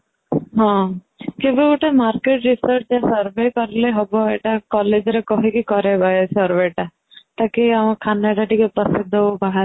ହଁ ସେ ଯୋଉ ଗୋଟେ ରେ survey କରିଲେ ହବ ଏଇଟା collage ରେ କହିକି କରେଇବା ଏଇ survey ଟା